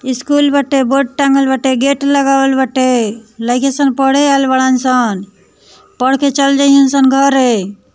School बाटे board टँगल बाटे गेट लगावल बाटेलइकन सब पढ़े आएल बड़ा सन पढ़ के चले जाइ सन घरे।